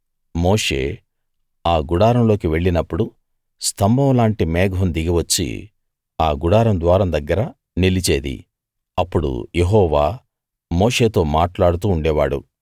మోషే ఆ గుడారంలోకి వెళ్ళినప్పుడు స్తంభం లాంటి మేఘం దిగి వచ్చి ఆ గుడారం ద్వారం దగ్గర నిలిచేది అప్పుడు యెహోవా మోషేతో మాట్లాడుతూ ఉండేవాడు